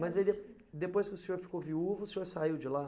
Mas aí de, depois que o senhor ficou viúvo, o senhor saiu de lá?